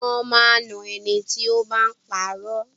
Wón máa ń na ẹni tí ó bá ń puro.